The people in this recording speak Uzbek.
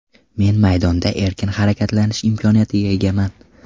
Men maydonda erkin harakatlanish imkoniyatiga egaman.